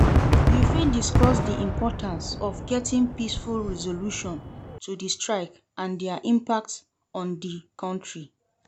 you fit discuss di importance of getting peaceful resolution to di strike and dia impact on di country.